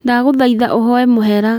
Ndagũthaitha uhonye mũhera